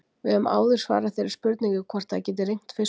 Við höfum áður svarað þeirri spurningu hvort það geti rignt fiskum.